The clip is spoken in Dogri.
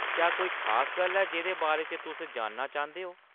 क्या कोई खास गल्ल ऐ जेह्‌दे बारे च तुस जानना चांह्‌‌‌दे ओ ?